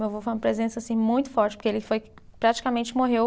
Meu avô foi uma presença muito forte, porque ele foi, praticamente morreu